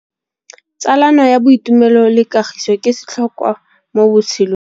Tsalano ya boitumelo le kagiso ke setlhôkwa mo botshelong.